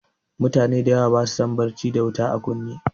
Mutane dayawa basu son barci da wuta a kunne